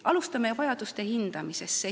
Alustame vajaduste hindamisest.